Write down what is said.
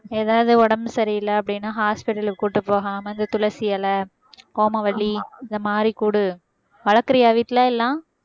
ஏதாவது உடம்பு சரியில்லை அப்படின்னா hospital க்கு கூட்டிட்டு போகாம அந்த துளசி இலை ஓமவல்லி இந்த மாதிரி குடு வளர்க்கிறியா வீட்ல எல்லாம்